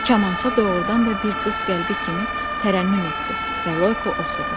Kamança doğurdan da bir qız qəlbi kimi tərənnüm etdi və Loyko oxudu.